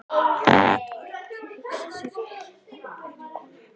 Hann gat vart hugsað sér þægilegri konu.